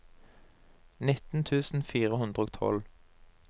nitten tusen fire hundre og tolv